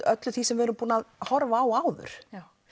öllu því sem við erum búin að horfa á áður